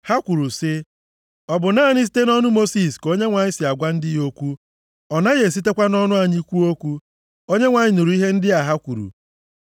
Ha kwuru sị, “Ọ bụ naanị site nʼọnụ Mosis ka Onyenwe anyị si agwa ndị ya okwu? Ọ naghị esitekwa nʼọnụ anyị kwuo okwu?” Onyenwe anyị nụrụ ihe ndị a ha kwuru.